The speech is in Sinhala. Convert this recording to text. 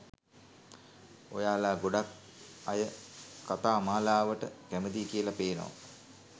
ඔයාලා ගොඩක් අයකතාමාලාවට කැමතියි කියලා පේනවා.